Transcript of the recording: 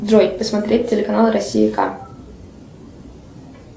джой посмотреть телеканал россия к